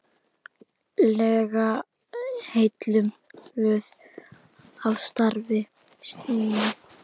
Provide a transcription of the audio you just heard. lega heilluð af starfi mínu.